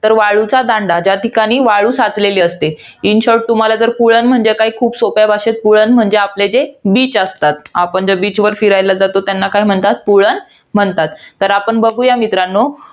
तर वाळूचा दांडा. ज्या ठिकाणी वाळू साचलेली असते. In short तुम्हाला जर पुळण म्हणजे काय? खूप सोप्या भाषेत पुळण म्हणजे आपल्या इथे beach असतात. आपण ज्या beach वर फिरायला जातो, त्यांना पुळण म्हणतात. तर आपण बघूया मित्रांनो.